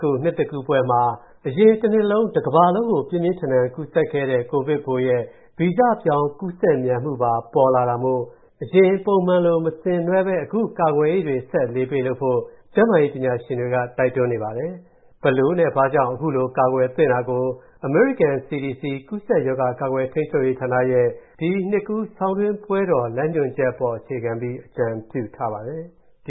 ခု၊ နှစ်သစ်ကူးပွဲမှာ၊ အရင်တနှစ်လုံး ကမ္ဘာတဝှမ်းမှာ ပြင်းပြင်းထန်ထန် ကူးစက်ခဲ့တဲ့၊ ကိုဗစ်ပိုးရဲ့ ဗီဇပြောင်း ပိုကူးစက်မြန်မူပါ ထွက်ပေါ်လာတာမို့၊ အရင်ပုံမှန်လို မဆင်နွှဲဘဲ၊ အခုလို ကာကွယ်ရေးတွေဆက်ပြီး အလေးပေးလုပ်ဖို့ ကျန်းမာရေးပညာရှင်တွေက တိုက်တွန်းနေပါတယ်။ အခုလို ကာကွယ်နိုင်ရေးအတွက်၊ အမေရိကန် CDC ကူးစက်ရောဂါ ကာကွယ်ထိန်းချုပ်ရေးဌာနက၊ ဒီနှစ်ကူးဆောင်းတွင်း ပွဲတော်ဆိုင်ရာ လမ်းညွှန်ချက်ကို အသေးစိတ်ထုတ်ပြန် အကြံပြုထားပါတယ်။ ဒ